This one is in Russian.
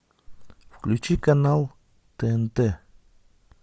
включи канал тнт